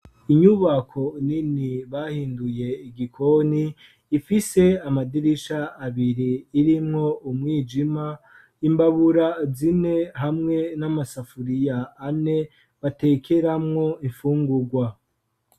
Inyubako yagenewe isomero yubatswe ku buhinga ifise amadirisha, ariko ibiye kugira atange umuco ukwiye imbere harimwo intebe nyinshi zipanze ku murongo zikozwe mu giti.